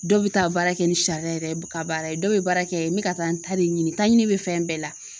Dɔw be taa baara kɛ ni sariya yɛrɛ ka baara ye dɔw be baara kɛ n bi ka taa n ta de ɲini taɲini be fɛn bɛɛ la